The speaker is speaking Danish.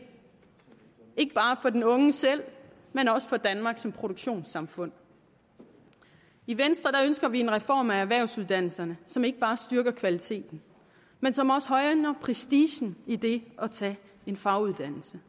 ikke bare for den unge selv men også for danmark som produktionssamfund i venstre ønsker vi en reform af erhvervsuddannelserne som ikke bare styrker kvaliteten men som også højner prestigen i det at tage en faguddannelse